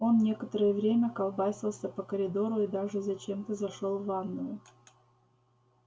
он некоторое время колбасился по коридору и даже зачем-то зашёл в ванную